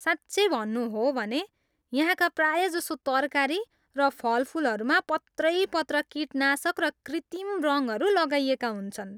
साँच्चै भन्नु हो भने, यहाँका प्रायजसो तरकारी र फलफुलहरूमा पत्रैपत्र कीटनाशक र कृत्रिम रङहरू लगाइएका हुन्छन्।